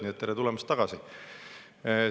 Nii et tere tulemast tagasi!